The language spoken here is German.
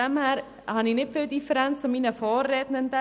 Daher habe ich nicht viele Differenzen zu meinen Vorredenden.